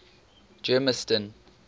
germiston